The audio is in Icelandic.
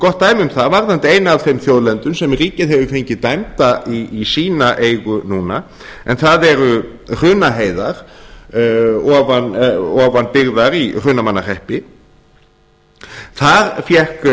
gott dæmi um það varðandi eina af þeim þjóðlendum sem ríkið hefur fengið dæmda í sína eigu núna en það eru hrunaheiðar ofan byggðar í hrunamannahreppi þar fékk